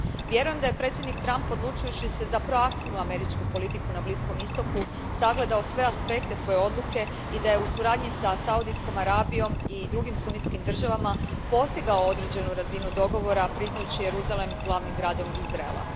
Vjerujem da je predsjednik Trump, odlučujući se za proaktivnu američku politiku na Bliskom Istoku, sagledao sve aspekte svoje odluke i da je u suradnji sa Saudijskom Arabijom i drugim sunitskim državama postignuo određenu razinu dogovora priznajući Jeruzalem glavnim gradom Izraela.